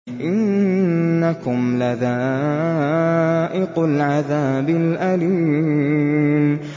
إِنَّكُمْ لَذَائِقُو الْعَذَابِ الْأَلِيمِ